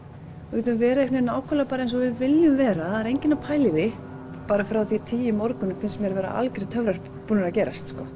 við getum verið nákvæmlega eins og við viljum vera það er enginn að pæla í því bara frá því klukkan tíu í morgun finnst mér algjörir töfrar búnir að gerast